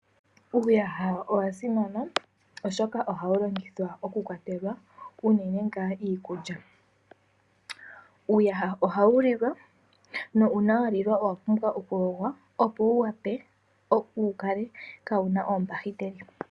Uuyaha owasimana oshoka ohawulongithwa okukwatelwa uunene ngaa iikulya. Uuyaha ohawulilwa na uuna walilwa owapumbwa okuyogwa opo wuwape, wukale kawuna oombakiteli.